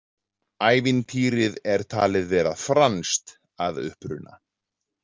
Ævintýrið er talið vera franskt að uppruna.